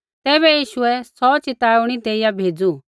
तैबै यीशुऐ सौ चेताऊणी देइया भेज़ू